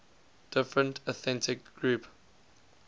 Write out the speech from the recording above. different ethnic groups